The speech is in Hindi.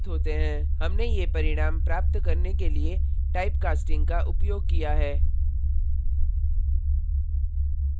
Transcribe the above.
हमने ये परिणाम प्राप्त करने के लिए typecasting का उपयोग किया है